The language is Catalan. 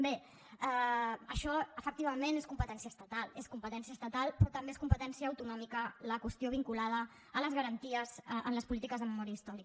bé això efectivament és competència estatal és competència estatal però també és competència autonòmica la qüestió vinculada a les garanties en les polítiques de memòria històrica